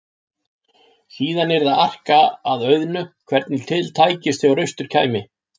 Síðan yrði að arka að auðnu hvernig til tækist þegar austur kæmi.